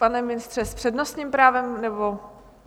Pane ministře, s přednostním právem, nebo?